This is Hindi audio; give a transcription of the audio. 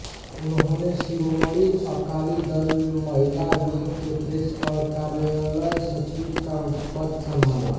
उन्होंने शिरोमणि अकाली दल महिला विंग के प्रेस और कार्यालय सचिव का पद संभाला